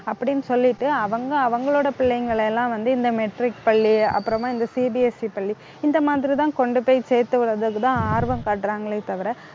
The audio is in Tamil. அப்படின்னு சொல்லிட்டு அவங்க அவங்களோட பிள்ளைங்களை எல்லாம் வந்து, இந்த matric பள்ளி, அப்புறமா இந்த CBSE பள்ளி இந்த மாதிரி தான் கொண்டு போய் சேர்த்து விடுறதுக்கு தான் ஆர்வம் காட்டுறாங்களே தவிர